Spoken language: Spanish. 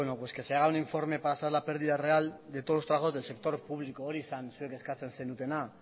pues que se haga un informe para saber la pérdida real de todos los trabajadores del sector público hori zen zuek eskatzen zenutena